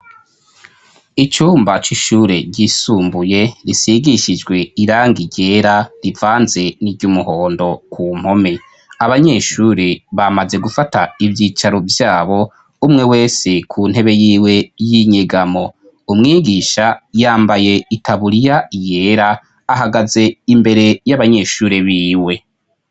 icumba c'ishure ryisumbuye risigishijwe irangi ryera rivanze ni ry'umuhondo ku mpome abanyeshuri bamaze gufata ivyicaro vyabo umwe wese ku ntebe yiwe y'inyigamo umwigisha yambaye itabuliya yera ahagaze imbere y'abanyeshuri biwe